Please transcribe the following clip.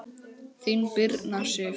Þín, Birna Sif.